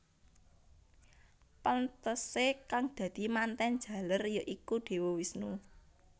Pantesé kang dadi mantèn jaler ya iku Dewa Wisnu